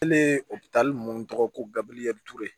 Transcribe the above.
Hali opitali ninnu tɔgɔ ko gabiyɛri ture